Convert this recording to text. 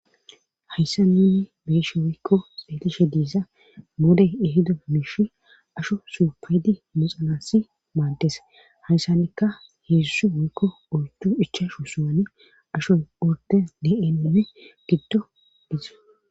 hayssa nuni beeshe woykko detishe diisa moodey ehido miishi asho suupaydi muxanasi maaddes hayssanikka heedzusu woykko ortu ichashu suwane ashoy urde deeme giddo dize